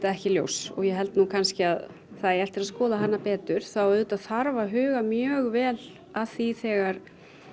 ekki ljós og ég held nú að það eigi eftir að skoða hana betur þá auðvitað þarf að huga mjög vel að því þegar